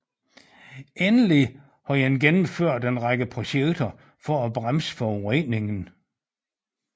Endelig har man gennemført en række projekter for at bremse forureningen